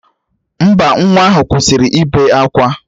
Mba, nwa ahụ kwụsịrị ịbe akwa